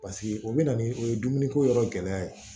Paseke o bɛ na ni o ye dumuniko yɔrɔ gɛlɛya ye